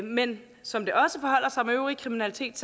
men som det også forholder sig med øvrig kriminalitet